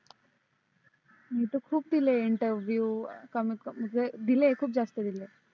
मी तर खूप दिले interview कमीत कमी म्हणजे दिले खूप जास्त दिले